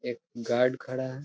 एक गार्ड खड़ा है।